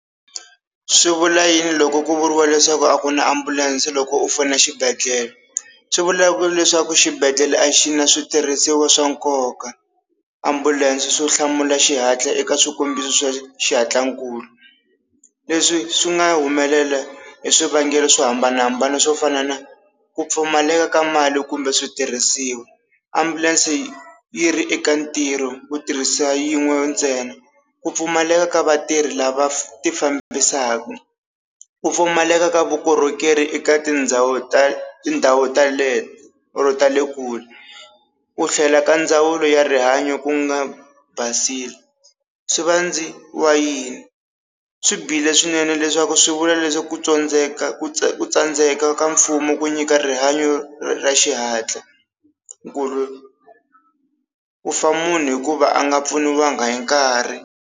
Swi vula yini loko ku vuriwa leswaku a ku na ambulense loko u fona a xibedhlele swivula ku leswaku xibedhlele a xi na switirhisiwa swa nkoka, ambulense swo hlamula xihatla eka swikombiso swa xihatlankulu leswi swi nga humelela hi swivangelo swo hambanahambana swo fana na ku pfumaleka ka mali kumbe switirhisiwa, ambulense yi ri eka ntirho ku tirhisa yin'we ntsena ku pfumaleka ka vatirhi lava ti fambisaka, ku pfumaleka ka vukorhokeri eka tindhawu ta tindhawu teleto or ta le kule, ku tlhela ka ndzawulo ya rihanyo ku nga basile swivandziwa yini, swi bihile swinene leswaku swi vula leswi ku tsandzeka ku tsandzeka ka mfumo ku nyika rihanyo ra xihatla, ku ku fa munhu hikuva a nga pfuniwanga hi nkarhi.